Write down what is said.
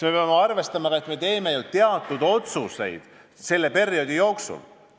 Me peame arvestama, et me teeme ju teatud otsuseid selle perioodi jooksul.